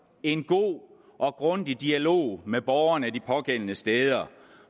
en god og grundig dialog med borgerne de pågældende steder